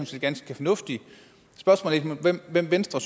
set ganske fornuftigt spørgsmålet er hvem venstre